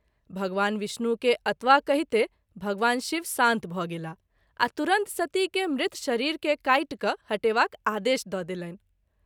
भगवान विष्णु के अतवा कहिते भगवान शिव शान्त भ’ गेलाह आ तुरत सती के मृत शरीर के काटि क’ हटेवाक आदेश द’ देलनि।